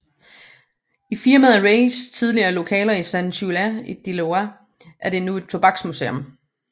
I firmaet Reigs tidligere lokaler i Sant Julià de Lòria er der nu et tobaksmuseum